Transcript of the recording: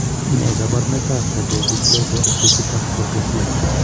Ne kaabarunetap Fibrodysplasia Ossificans Progressiva?